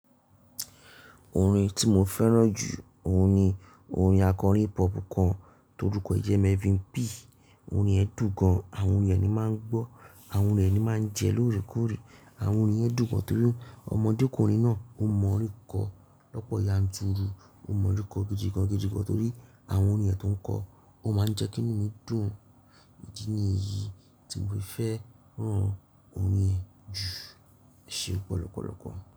Orin tí mo fẹ́ràn jù ó ni orin akọrin hip hop kan tó dúkọ̀ jẹ́ Melvin P. Orin ẹ́ dùn gan. Àwọn orin re ni máa ń gbọ́, àwọn orin re ni máa ń jẹ lóòrèkóòrè. Àwọn orin yen dùn gan torí ọmọdékùnrin náà ó mọ orin kọ́ lọ́pọ̀ yanturu. Ó mọ orin kọ́ gidigan gidìgan torí àwọn orin ẹ́ tó ń kọ. Ó máa ń jẹ́kí nù ú mi dùn. Idi ní yii tí mo fẹ́ rán orin ẹ́ jù eṣe ọ̀pọ̀lọ́pọ̀lọ́pọ̀